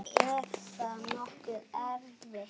Er það nokkuð erfitt?